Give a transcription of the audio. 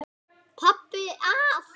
Pabbi að.